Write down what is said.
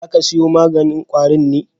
Za ka siyo maganin ƙwarin me?